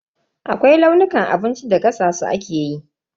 Akwai launukan abincin da gasa su ake yi.